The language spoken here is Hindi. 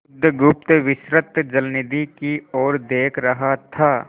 बुधगुप्त विस्तृत जलनिधि की ओर देख रहा था